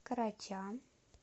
короча